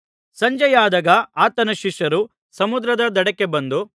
ಸಂಜೆಯಾದಾಗ ಆತನ ಶಿಷ್ಯರು ಸಮುದ್ರದ ದಡಕ್ಕೆ ಬಂದು